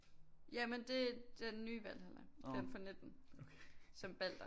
Ja men det er den nye Valhalla den fra 19 som Balder